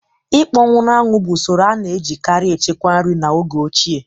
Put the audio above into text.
Ịkpọnwụ na-anwụ bụ usoro a na-ejikarị echekwa nri n'oge ochie